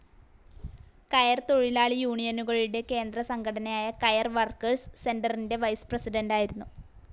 കയർത്തൊഴിലാളി യൂണിയനുകളുടെ കേന്ദ്ര സംഘടനയായ കയർ വർക്കേഴ്സ്‌ സെൻ്ററിൻ്റെ വൈസ്‌ പ്രസിഡൻ്റായിരുന്നു.